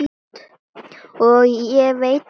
Og ég veit það ekki.